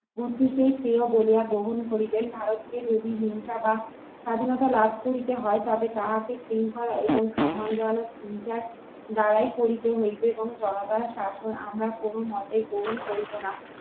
বুদ্ধি কি স্নেহ বলিয়া গ্রহণ করিবেন ভারতে যদি হিংসা বা স্বাধীনতা লাভ করিতে হয় তবে তাহাকে শৃঙ্খলা এবং সম্মানজনক দ্বারাই করিতে হইবে এবং জনতা শাসন আমরা কোনমতেই গ্রহণ করিব না